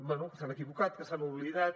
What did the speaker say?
bé que s’han equivocat que s’han oblidat